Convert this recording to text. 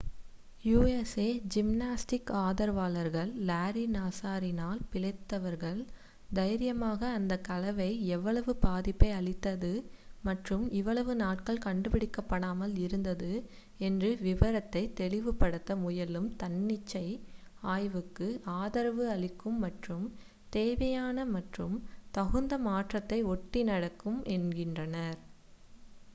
USA gymnastics ஆதரவாளர்கள் Larry நாஸரினால் பிழைத்தவர்கள் தைரியமாக அந்த கலவை எவ்வளவு பாதிப்பை அளித்தது மற்றும் இவ்வளவு நாட்கள் கண்டுபிடிக்கப்படாமல் இருந்தது என்று விவரிப்பதை தெளிவுபடுத்த முயலும் தன்னிச்சை ஆய்விற்கு ஆதரவு அளிக்கும் மற்றும் தேவையான மற்றும் தகுந்த மாற்றத்தை ஒட்டி நடக்கும் என்கின்றனர்